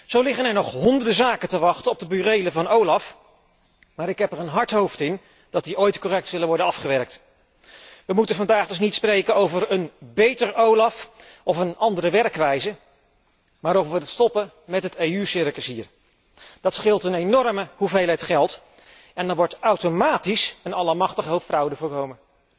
Zo liggen er nog honderden zaken te wachten op de burelen van OLAF, maar ik heb er een hard hoofd in dat die ooit correct zullen worden afgewerkt. We moeten vandaag dus niet spreken over een beter OLAF of een andere werkwijze, maar over het stopzetten van het EU circus hier. Dat scheelt een enorme hoeveelheid geld en dan wordt er automatisch en allemachtig veel fraude voorkomen.